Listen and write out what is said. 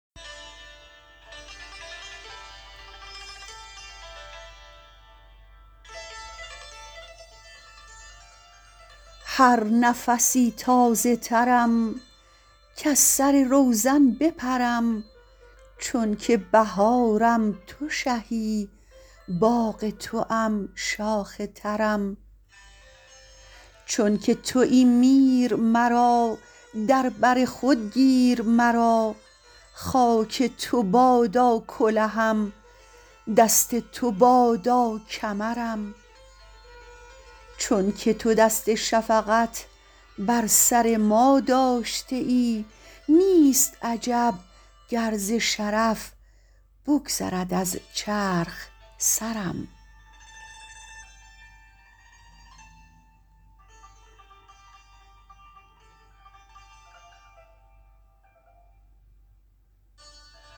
هر نفسی تازه ترم کز سر روزن بپرم چونکه بهارم تو شهی باغ توام شاخ ترم چونکه توی میر مرا در بر خود گیر مرا خاک تو بادا کلهم دست تو بادا کمرم چونکه تو دست شفقت بر سر ما داشته ای نیست عجب گر ز شرف بگذرد از چرخ سرم